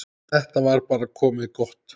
Þetta var bara komið gott.